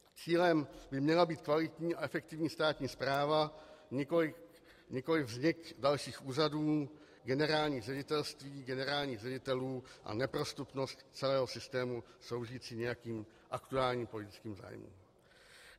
Cílem by měla být kvalitní a efektivní státní správa, nikoliv vznik dalších úřadů, generálních ředitelství, generálních ředitelů a neprostupnost celého systému sloužící nějakým aktuálním politickým zájmům.